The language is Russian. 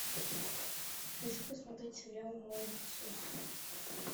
хочу посмотреть сериал молокососы